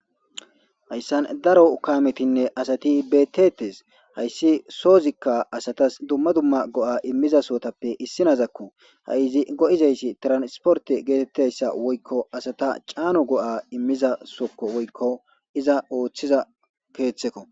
Hayssan daro kaametinne asati bettetes hayssi soozikka asatas dumma dumma go7a immiza sootappe issinazakko ha7izi go7izayssi transporte geetettayssa woykko asata caano go7a immiza sokko woykko iza ooththiza keeththekko.